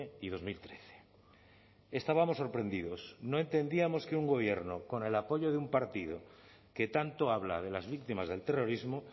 y dos mil trece estábamos sorprendidos no entendíamos que un gobierno con el apoyo de un partido que tanto habla de las víctimas del terrorismo